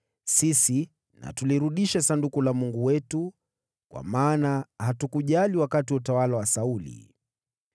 Sisi na tulirudishe Sanduku la Mungu wetu kwetu kwa maana hatukujali wakati wa utawala wa Sauli.”